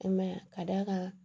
I ma ye wa ka d'a kan